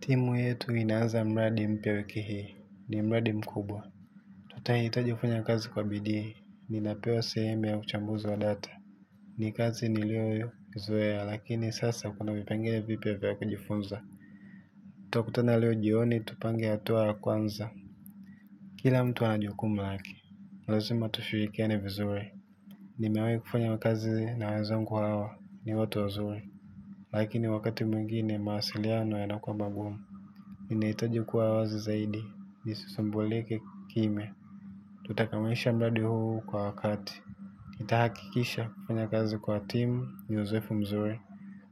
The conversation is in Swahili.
Timu yetu inaanza mradi mpya wiki hii. Ni mraadi mkubwa. Tutahitaji kufanya kazi kwa bidii. Ninapewa sehemu ya uchambuzi wa data. Ni kazi niliyoizoea lakini sasa kuna vipenge vipya vya kujifunza. Tutakutana leo jioni tupange tupange hatua ya kwanza. Kila mtu ana jukumu lake. Lazima tushirikiane vizuri. Nimewahi kufunya kazi na wenzangu hawa. Ni watu wazuri. Lakini wakati mwingine mawasiliano yanakuwa magumu. Ninahitaji kuwa wazi zaidi, nisisumbulike kimya. Tutakamilisha mradi huu kwa wakati nitahakikisha kufanya kazi kwa timu, ni uzoefu mzuri.